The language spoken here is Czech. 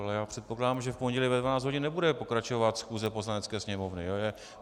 Ale já předpokládám, že v pondělí ve 12 hodin nebude pokračovat schůze Poslanecké sněmovny.